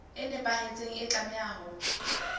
e nepahetseng e tlameha ho